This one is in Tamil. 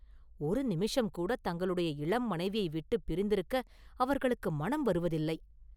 ஒரு நிமிஷம் கூடத் தங்களுடைய இளம் மனைவியை விட்டுப் பிரிந்திருக்க அவர்களுக்கு மனம் வருவதில்லை.